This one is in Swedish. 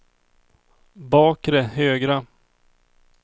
bakre högra